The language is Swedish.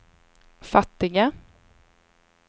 fattiga